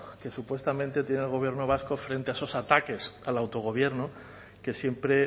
que supuestamente tiene el gobierno vasco frente a esos ataques al autogobierno que siempre